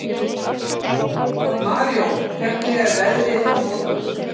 Marijón, hvernig er veðrið á morgun?